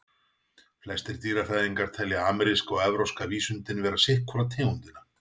Flestir dýrafræðingar telja ameríska og evrópska vísundinn vera sitt hvora tegundina.